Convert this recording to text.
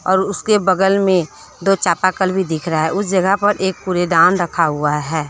और उसके बगल में दो चापाकल भी दिख रहा है उस जगह पर एक कूड़ेदान रखा हुआ है।